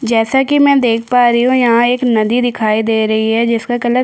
जैसा कि मैं देख पा रही हूँ यहाँ एक नदी दिखाई दे रही है जिसका कलर --